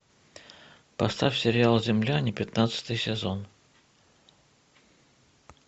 поставь сериал земляне пятнадцатый сезон